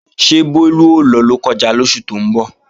Ṣé Bólú ó lọ Lọ́kọ́ja lóṣù tó ń bọ̀?